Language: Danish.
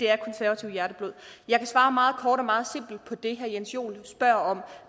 er konservativt hjerteblod jeg kan svare meget kort og meget simpelt på det herre jens joel spørger om